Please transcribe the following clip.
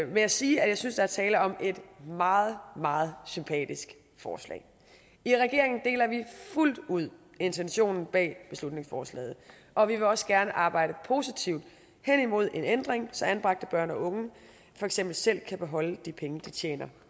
med at sige at jeg synes der er tale om et meget meget sympatisk forslag i regeringen deler vi fuldt ud intentionen bag beslutningsforslaget og vi vil også gerne arbejde positivt hen imod en ændring så anbragte børn og unge for eksempel selv kan beholde de penge de tjener